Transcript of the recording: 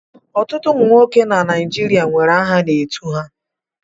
Ọtụtụ ụmụ nwoke n'ala Igbo nwere aha a na-etu ha.